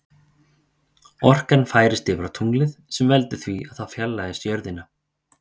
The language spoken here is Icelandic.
Orkan færist yfir á tunglið sem veldur því að það fjarlægist jörðina.